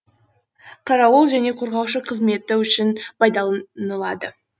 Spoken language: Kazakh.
қарауыл және қорғаушы қызметі үшін пайдалынылады